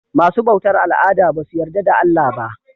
Masu bautar al'ada basu yarda da Allah ba.